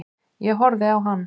Ég horfði á hann.